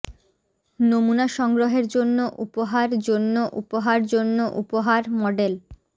নমুনা সংগ্রহের জন্য উপহার জন্য উপহার জন্য উপহার মডেল